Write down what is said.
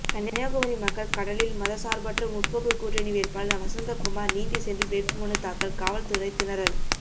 கன்னியாகுமரிமக்கள் கடலில் மதசார்பற்ற முற்போக்கு கூட்டணி வேட்பாளர் வசந்தகுமார் நீந்திசென்று வேட்புமனுதாக்கல் காவல்துறை திணறல்